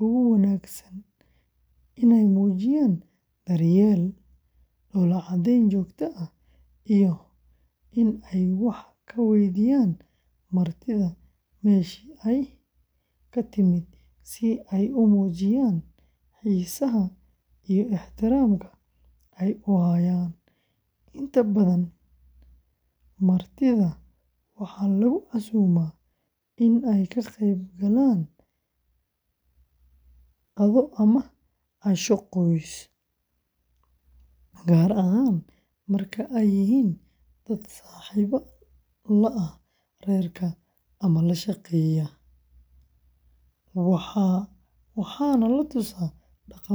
ugu wanaagsan inay muujiyaan daryeel, dhoolla-caddeyn joogto ah, iyo in ay wax ka weydiiyaan martida meeshii ay ka timid si ay u muujiyaan xiisaha iyo ixtiraamka ay u hayaan; inta badan martida waxaa lagu casuumaa in ay ka qaybgalaan qado ama casho qoys, gaar ahaan marka ay yihiin dad saaxiib la ah reerka ama la shaqeeya, waxaana la tusaa dhaqamada maxalliga ah.